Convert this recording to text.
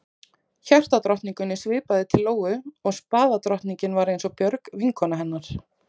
Hjartadrottningunni svipaði til Lóu og spaðadrottningin var eins og Björg, vinkona hennar.